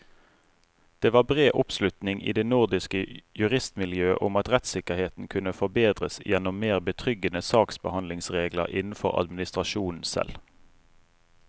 Det var bred oppslutning i det nordiske juristmiljøet om at rettssikkerheten kunne forbedres gjennom mer betryggende saksbehandlingsregler innenfor administrasjonen selv.